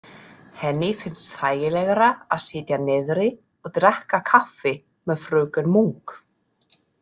Henni finnst þægilegra að sitja niðri og drekka kaffi með fröken Munk.